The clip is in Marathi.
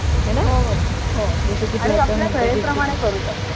हे ना हो हो जस सोयी प्रमाणे करू शकतो